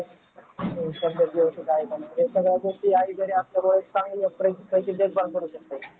सगळ्या गोष्टी सगळ्या गोष्टी आईकडे असल्यामुळे एक